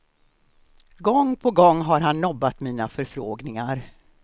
Gång på gång har han nobbat mina förfrågningar.